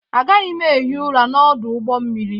Agaghị m ehi ụra n'ọdụ ụgbọ mmiri.